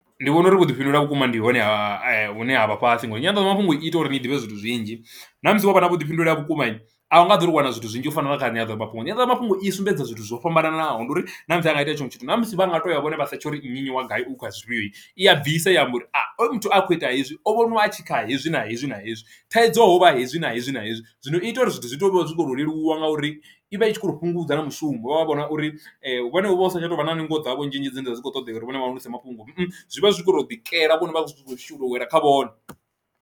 Ndi vhona uri vhuḓifhindulele vhukuma ndi hone ha hune ha vha fhasi ngori nyanḓadzamafhungo i ita uri ni ḓivhe zwithu zwinzhi ṋamusi wana vhuḓifhinduleli ha vhukuma a u nga ḓo ri wana zwithu zwinzhi u fana na kha nyanḓadzamafhungo, nyanḓadzamafhungo i sumbedza zwithu zwo fhambananaho ndi uri ṋamusi a nga itea tshinwe tshithu na musi vha nga to ya vhone vha setsha uri nnyi nnyi wa gai u kha zwifhio iyi i a bvisa i amba uri muthu a khou ita hezwi o vhoniwa a tshi kha hezwi na hezwi na hezwi thaidzo hovha hezwi na hezwi na hezwi. Zwino i ita uri zwithu zwi to zwo leluwa ngauri ivha i tshi kho to fhungudza na mushumo vha vha vhona uri vhone vha usa tsha tovha na ningo dzavho nzhinzhi dzine dzavha dzi kho ṱodea uri vhone vha hulise mafhungo zwi vha zwi kho to ḓikela vhone vha zwi tshi kho shuma u wela kha vhone.